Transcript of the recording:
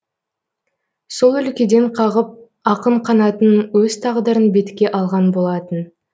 сол өлкеден қағып ақын қанатын өз тағдырын бетке алған болатын